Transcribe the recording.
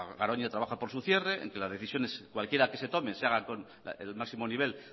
garoña trabaja por su cierre entre las decisiones cualquiera que se tome se haga con el máximo nivel